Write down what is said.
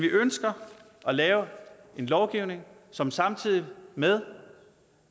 ønsker at lave en lovgivning som samtidig med